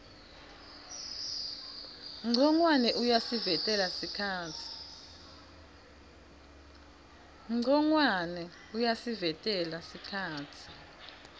ncongwane uyasivetela sikhatsi